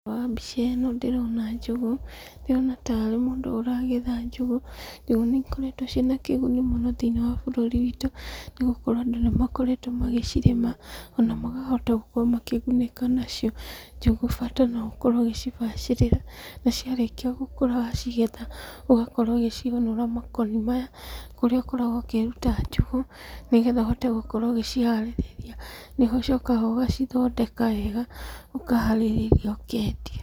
Wa mbica ĩno ndĩrona njũgũ, ndĩrona tarĩ mũndũ ũragetha njũgũ. Njũgũ nĩ ikoretwo ciĩna kĩguni mũno thĩiniĩ wa bũrũri witũ, nĩgũkorwo andũ nĩ makoretwo magĩcirĩma ona magahota gũkorwo makĩgunĩka nacio. Njũgũ bata no ũkorwo ũgĩcibacĩrĩra, na ciarĩkia gũkũra wacigetha ũgakorwo ũgĩciũnũra makoni maya, kũrĩa ũkoragwo ũkĩruta njũgũ, nĩgetha ũhote gũkorwo ũgĩciharĩrĩria. Nĩ ũcokaga ũgacithondeka wega, ũharĩrĩrĩa ũkendia.